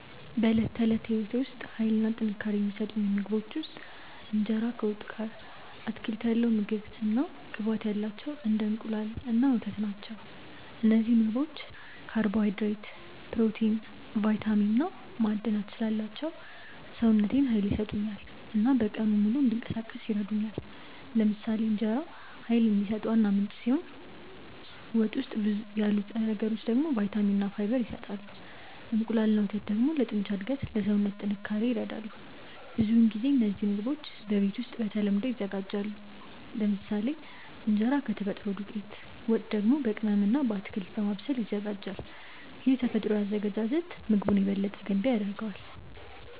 በዕለት ተዕለት ሕይወቴ ውስጥ ኃይል እና ጥንካሬ የሚሰጡኝ ምግቦች ውስጥ እንጀራ ከወጥ ጋር፣ አትክልት ያለው ምግብ እና ቅባት ያላቸው እንደ እንቁላል እና ወተት ናቸው። እነዚህ ምግቦች ካርቦሃይድሬት፣ ፕሮቲን፣ ቫይታሚን እና ማዕድናት ስላላቸው ሰውነቴን ኃይል ይሰጡኛል እና በቀኑ ሙሉ እንዲንቀሳቀስ ይረዱኛል። ለምሳሌ እንጀራ ኃይል የሚሰጥ ዋና ምንጭ ሲሆን ወጥ ውስጥ ያሉ ንጥረ ነገሮች ደግሞ ቫይታሚን እና ፋይበር ይሰጣሉ። እንቁላል እና ወተት ደግሞ ለጡንቻ እድገት እና ለሰውነት ጥንካሬ ይረዳሉ። ብዙውን ጊዜ እነዚህ ምግቦች በቤት ውስጥ በተለምዶ ይዘጋጃሉ፤ ለምሳሌ እንጀራ ከተፈጥሮ ዱቄት፣ ወጥ ደግሞ በቅመም እና በአትክልት በማብሰል ይዘጋጃል። ይህ ተፈጥሯዊ አዘገጃጀት ምግቡን የበለጠ ገንቢ ያደርገዋል።